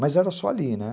Mas era só ali, né.